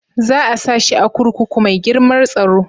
Za a sa shi a kurkuku mai girmar tsaro?